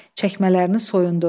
Çəkmələrini soyundu.